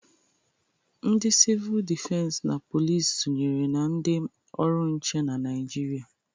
Ndị sivul dịfens na police sonyere na ndị ọrụ nche na Naịjịrịa.